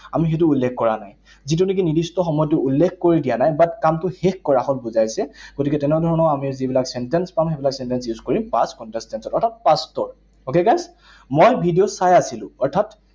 আমি সেইটো উল্লেখ কৰা নাই। যিটো নেকি নিৰ্দিষ্ট সময়তো উল্লেখ কৰি দিয়া নাই। But কামটো শেষ কৰা হল বুজাইছে, গতিকে তেনে ধৰণৰ আমি যিবিলাক sentence পাম, সেইবিলাক sentence use কৰি past continuous tense হয়, অৰ্থাৎ past ৰ। Okay, guys? মই ভিডিঅ চাই আছিলো। অৰ্থাৎ